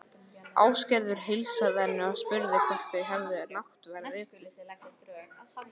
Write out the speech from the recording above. Ásgerður heilsaði henni og spurði hvort þau hefði náttverð etið.